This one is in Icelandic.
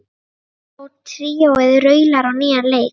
Ríó tríóið raular á nýjan leik